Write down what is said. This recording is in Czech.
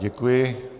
Děkuji.